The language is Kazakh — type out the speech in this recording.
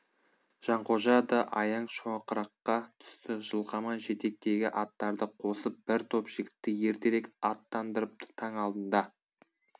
жанқожа да аяң шоқыраққа түсті жылқаман жетектегі аттарды қосып бір топ жігітті ертерек аттандырыпты таң алдында